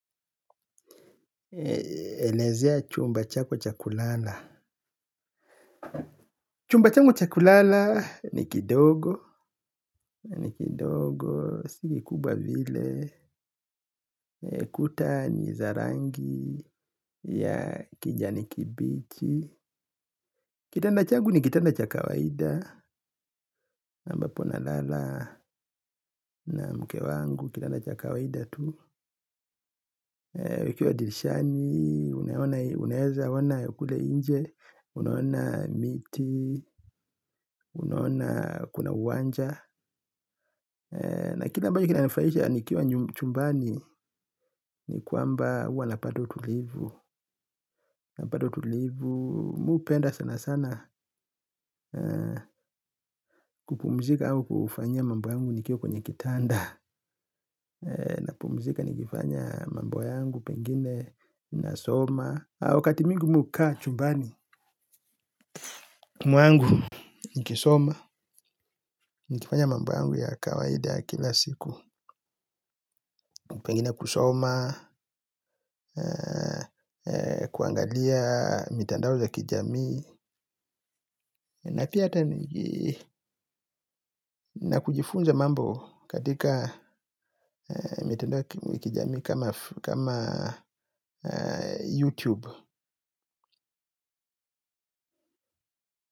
Elezea chumba chako chakulala. Chumba changu chakulala ni kidogo. Si kubwa vile. Kuta nizarangi ya kijani kibichi. Kitanda changu ni kitanda chakawaida. Na ambapo na lala na mke wangu. Kitanda cha kawaida tu. Wakiwa dirishani unaona unaeza ona kule nje. Unaona miti. Unaona kuna uwanja. Na kila ambacho kina nifurahisha nikiwa chumbani ni kwamba uwa napata utulivu napata utulivu mi upenda sana sana. Kupumzika au kufanyia mambo yangu. Nikiwa kwenye kitanda na pumzika nikifanya mambo yangu. Pengine nasoma. Wakati mwingi mi ukaa chumbani mwangu nikisoma. Nikifanya mambo yangu ya kawaida ya kila siku. Pengine kusoma. Kuangalia mitandao za kijamii. Na kujifunza mambo Katika Mitandao za kijamii. Kama Youtube.